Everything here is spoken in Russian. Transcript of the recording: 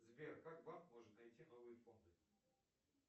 сбер как банк может найти новые фонды